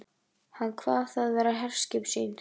Hann kvað það vera herskip sín.